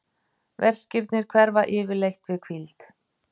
verkirnir hverfa yfirleitt við hvíld